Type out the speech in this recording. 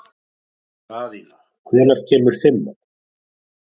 Daðína, hvenær kemur fimman?